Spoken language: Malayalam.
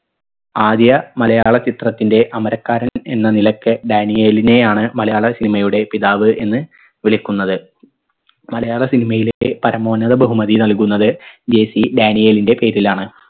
ആദ്യ മലയാള ചിത്രത്തിൻറെ അമരക്കാരൻ എന്ന നിലക്ക് ഡാനിയേലിനെയാണ് മലയാള cinema യുടെ പിതാവ് എന്ന് വിളിക്കുന്നത് മലയാള cinema യിലെ പരമോന്നത ബഹുമതി നൽകുന്നത് JC ഡാനിയേലിൻറെ പേരിലാണ്